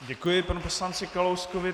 Děkuji panu poslanci Kalouskovi.